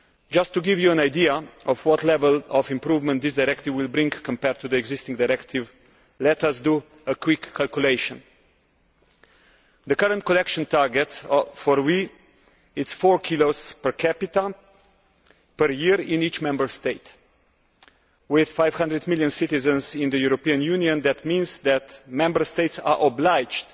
Just to give you an idea of what level of improvement this directive will bring compared to the existing directive, let us do a quick calculation. The current collection target for WEEE is four kilos per capita per year in each Member State. With 500 million citizens in the European Union, that means that Member States are obliged